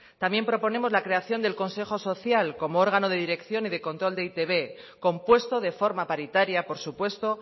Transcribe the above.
también proponemos la creación del consejo social como órgano de dirección y de control de e i te be compuesto de forma paritaria por supuesto